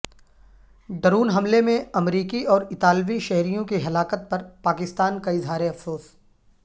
ڈورن حملے میں امریکی اور اطالوی شہریوں کی ہلاکت پر پاکستان کا اظہار افسوس